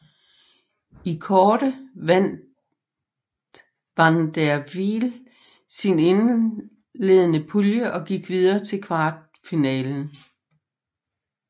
I kårde vandt van der Wiel sin indledende pulje og gik videre til kvartfinalen